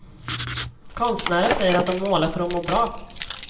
Konstnärer säger att de målar för att må bra.